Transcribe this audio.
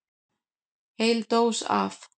Heil dós af